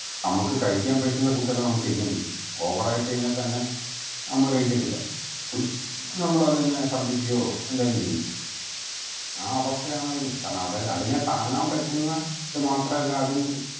നമ്മക്ക് കഴിക്കാൻ പറ്റുന്ന food എല്ലൊം നമ്മക്ക് കഴിക്കാൻ പറ്റും over ആയി കഴിഞ്ഞ തന്നെ നമ്മൾ കഴിക്കത്തില്ല നമ്മളെത്തന്നെ ശർദിക്കുവോ എന്തേലും ചെയ്യും ആ അവസ്ഥയാണ് അതിനും കാരണം അവര അതിനെ താങ്ങാൻ പറ്റുന്ന ഇത് മാത്രല്ല അത്